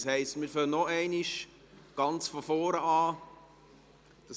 Das heisst, wir fangen nochmal ganz von vorne an.